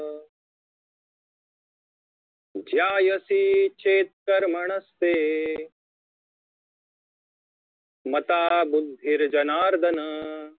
ज्यायसी चेत्कर्मणस्ते मता बुद्धिर्जनार्दन